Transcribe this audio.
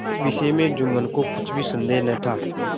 इस विषय में जुम्मन को कुछ भी संदेह न था